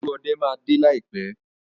Olúọdẹ máa dé láìpẹ́.